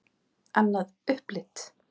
Annað upplit.